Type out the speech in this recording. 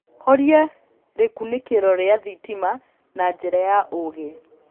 horĩa rikunikiro ria thitima na njĩra ya uugi